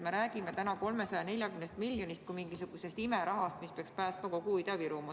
Me räägime täna 340 miljonist kui mingisugusest imerahast, mis peaks päästma kogu Ida-Virumaa.